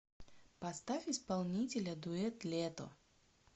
поставь исполнителя дуэт лето